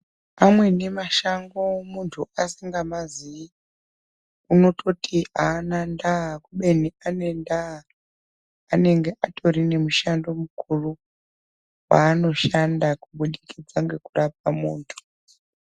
Amweni mashango muntu asingamazi unototi ana ndaa ubeni ane nda anenge atori nemishando mukuru kwanoshanda kubudikidza ngekurapa muntu .